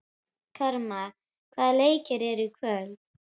Karma, hvaða leikir eru í kvöld?